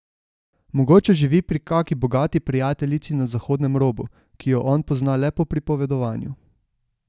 Mogoče živi pri kaki bogati prijateljici na zahodnem robu, ki jo on pozna le po pripovedovanju.